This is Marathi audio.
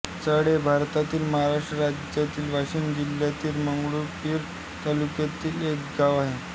चेहेळ हे भारतातील महाराष्ट्र राज्यातील वाशिम जिल्ह्यातील मंगरुळपीर तालुक्यातील एक गाव आहे